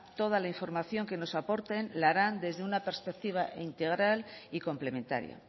toda la información que nos aporten la harán desde una perspectiva integral y complementaria